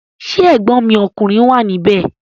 Ṣé ẹ̀gbọ́n mi ọkùnrin wà ní ibẹ̀?